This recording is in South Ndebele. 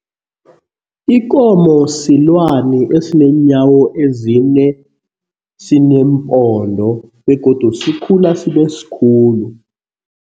Ikomo silwani esineenyawo ezine, sineempondo begodu sikhula sibe sikhulu.